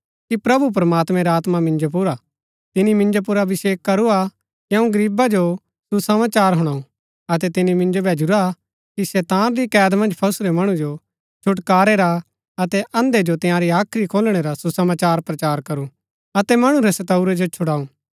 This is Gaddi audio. प्रभु प्रमात्मैं रा आत्मा मिन्जो पुर हा तिनी मिन्जो पुर अभिषेक करूआ कि अऊँ गरीबा जो सुसमाचार हूणाऊ अतै तिनी मिन्जो भैजुरा कि शैतान री कैद मन्ज फसुरै मणु जो छुटकारै रा अतै अंधे जो तंयारी हाख्री खोलणै रा सुसमाचार प्रचार करू अतै मणु रै सतऊरै जो छुड़ाऊँ